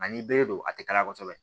Ani bere don a ti kala kosɛbɛ